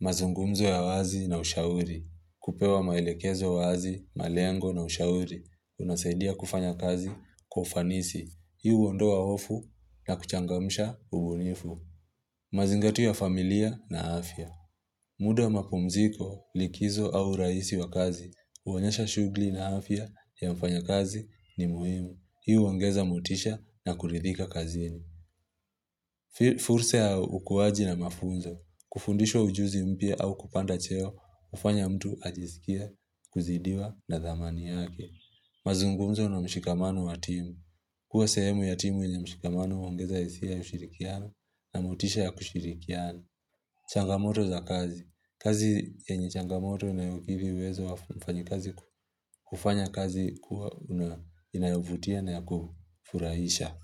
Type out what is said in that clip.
Mazungumzo ya wazi na ushauri. Kupewa maelekezo wazi, malengo na ushauri. Unasaidia kufanya kazi kwa ufanisi. Hiumi huondoa hofu na kuchangamsha ubunifu. Mazingatu ya familia na afya. Muda wa mapumziko likizo au raisi wa kazi. Huonyesha shughuli na afya ya mfanyakazi ni muhimu. Hii huongeza motisha na kuridhika kazini. Furse ya ukuaji na mafunzo. Kufundishwa ujuzi mpya au kupanda cheo, hufanya mtu ajisikie, kuzidiwa na dhamani yake. Mazungumzo na mshikamano wa timu. Kuwa sehemu ya timu yenye mshikamano huongeza hisia ya ushirikiano na motisha ya kushirikiana. Changamoto za kazi. Kazi yenye changamoto na yukivi uwezo wa mfanyikazi ku hufanya kazi kuwa una inayovutia na ya kufurahisha.